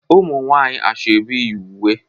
umunwanyi asoebi yi uwe